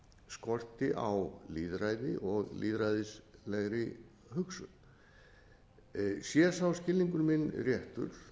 skorti á lýðræði og lýðræðislegri hugsun sé sá skilningur minn réttur